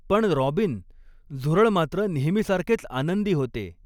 पण रॉबिन, झुरळ मात्र नेहमीसारखेच आनंदी होते.